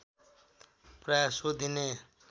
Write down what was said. प्राय सोधिने